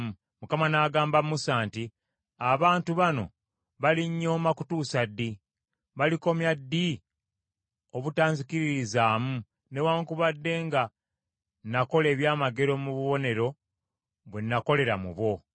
Mukama n’agamba Musa nti, “Abantu bano balinnyooma kutuusa ddi? Balikomya ddi obutanzikiririzaamu, newaakubadde nga nakola ebyamagero mu bubonero bwe nakolera mu bo?